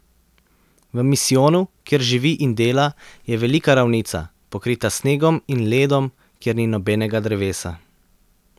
V misijonu, kjer živi in dela, je velika ravnica, pokrita s snegom in ledom, kjer ni nobenega drevesa.